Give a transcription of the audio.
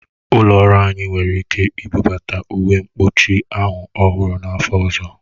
Ụlọ ọrụ anyị nwere ike ibubata uwe mkpuchi ahụ ọhụrụ n'afọ ọzọ